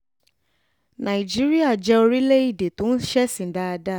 nàìjíríà jẹ́ orílẹ̀‐èdè tó ń ṣèsìn dáadáa